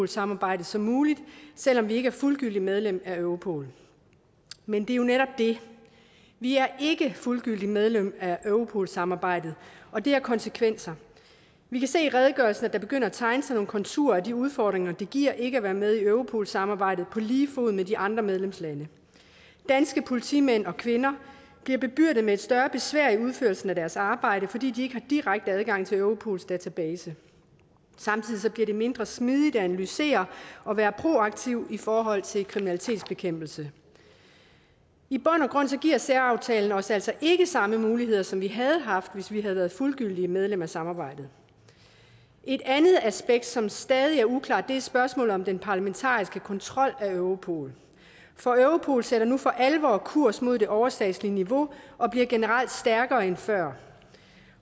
samarbejdet som muligt selv om vi ikke er fuldgyldigt medlem af europol men det er jo netop det vi er ikke fuldgyldigt medlem af europol samarbejdet og det har konsekvenser vi kan se i redegørelsen at der begynder at tegne sig nogle konturer af de udfordringer det giver ikke at være med i europol samarbejdet på lige fod med de andre medlemslande danske politimænd og kvinder bliver bebyrdet med et større besvær i udførelsen af deres arbejde fordi de ikke har direkte adgang til europols database samtidig bliver det mindre smidigt at analysere og være proaktiv i forhold til kriminalitetsbekæmpelse i bund og grund giver særaftalen os altså ikke samme muligheder som vi havde haft hvis vi havde været fuldgyldigt medlem af samarbejdet et andet aspekt som stadig er uklart er spørgsmålet om den parlamentariske kontrol af europol for europol sætter nu for alvor kurs mod det overstatslige niveau og bliver generelt stærkere end før